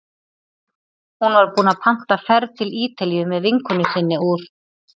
Hún var búin að panta ferð til Ítalíu með vinkonu sinni úr